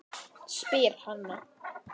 spyr Hanna.